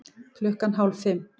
Klukkan hálf fimm